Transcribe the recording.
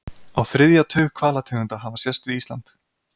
Á þriðja tug hvalategunda hafa sést við Ísland.